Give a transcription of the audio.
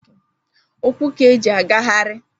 ukwu ka eji agagharị